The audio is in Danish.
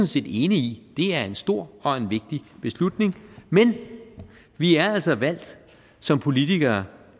set enig i det er en stor og vigtig beslutning men vi er altså valgt som politikere